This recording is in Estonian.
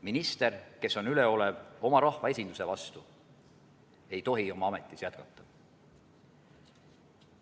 Minister, kes on üleolev oma rahva esinduse vastu, ei tohi oma ametis jätkata.